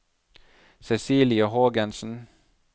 Cecilie Hågensen